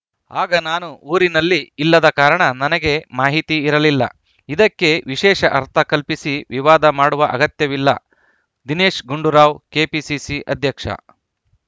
ಆಗ ನಾನು ಊರಿನಲ್ಲಿ ಇಲ್ಲದ ಕಾರಣ ನನಗೆ ಮಾಹಿತಿ ಇರಲಿಲ್ಲ ಇದಕ್ಕೆ ವಿಶೇಷ ಅರ್ಥ ಕಲ್ಪಿಸಿ ವಿವಾದ ಮಾಡುವ ಅಗತ್ಯವಿಲ್ಲ ದಿನೇಶ್‌ ಗುಂಡೂರಾವ್‌ ಕೆಪಿಸಿಸಿ ಅಧ್ಯಕ್ಷ